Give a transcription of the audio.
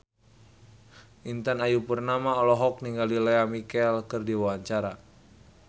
Intan Ayu Purnama olohok ningali Lea Michele keur diwawancara